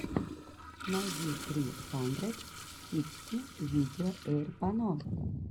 найди сри хандрэд сиксти видео эйрпано